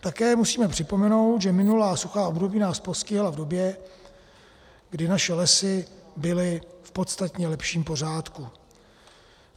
Také musíme připomenout, že minulá suchá období nás postihla v době, kdy naše lesy byly v podstatně lepším pořádku.